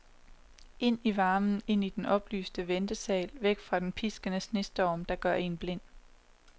Ind i varmen, ind i den oplyste ventesal, væk fra den piskende snestorm, der gør en blind.